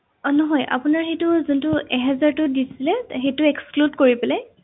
অ নহয় আপোনাৰ সেইটো যোনটো এহেজাৰটো দিছিলে সেইটো exclude কৰি পেলাই